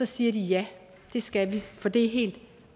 siger de ja det skal vi for det er helt